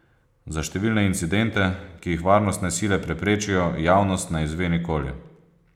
Za številne incidente, ki jih varnostne sile preprečijo, javnost ne izve nikoli.